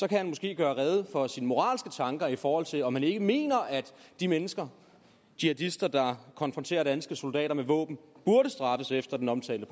kan han måske gøre rede for sine moralske tanker i forhold til om han ikke mener at de mennesker jihadister der konfronterer danske soldater med våben burde straffes efter den omtalte